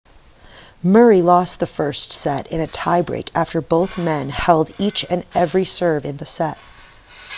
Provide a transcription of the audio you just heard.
murray lost the first set in a tie break after both men held each and every serve in the set